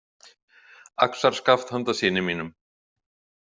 "Axarskaft handa syni mínum... """